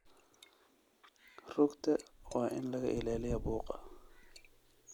Rugta waa in laga ilaaliyaa buuqa.